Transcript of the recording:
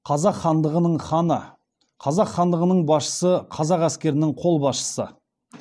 қазақ хандығының ханы қазақ хандығының басшысы қазақ әскерінің бас қолбасшысы